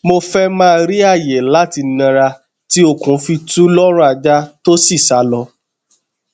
mo fẹ ma ri aaye lati nara ti okun fi tu lọrun aja to si salọ